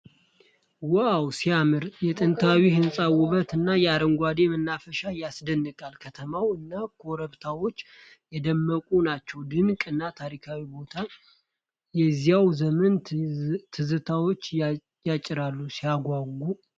ዋው ሲያምር! የጥንታዊ ሕንፃ ውበት እና የአረንጓዴው መናፈሻ ያስደንቃል። ከተማው እና ኮረብታዎች የደመቁ ናቸው። ድንቅ እና ታሪካዊ ቦታ! የዚያን ዘመን ትዝታዎችን ያጭራል። ሲያጓጓ!